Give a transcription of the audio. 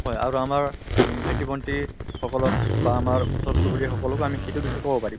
হয় আৰু আমাৰ অম ভাইটি ভণ্টি সকলক বা আমাৰ ওচৰ চুবুৰীয়া সকলকো আমি সিটোৰ বিষয়ে কব পাৰিম।